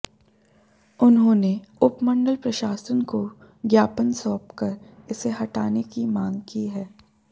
उन्होंने उपमंडल प्रशासन को ज्ञापन सौंप कर इसे हटाने की मांग की है